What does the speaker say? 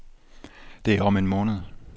Det er om en måned.